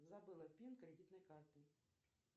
забыла пин кредитной карты